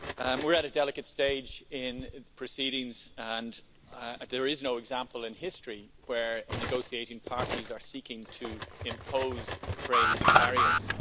We're at a delicate stage in proceedings, and there is no example in history where negotiating parties are seeking to impose trade barriers.